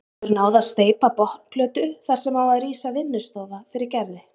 Hefur náð að steypa botnplötu þar sem á að rísa vinnustofa fyrir Gerði.